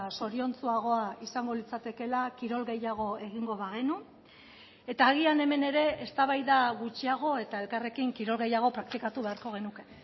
zoriontsuagoa izango litzatekeela kirol gehiago egingo bagenu eta agian hemen ere eztabaida gutxiago eta elkarrekin kirol gehiago praktikatu beharko genuke